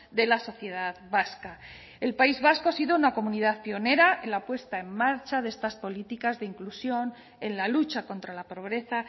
de la sociedad vasca el país vasco ha sido una comunidad pionera en la puesta en marcha de estas políticas de inclusión en la lucha contra la pobreza